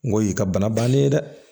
N ko ye ka bana bannen ye dɛ